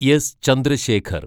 S Chandrasekhar